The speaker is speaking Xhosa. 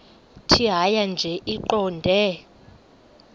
tjhaya nje iqondee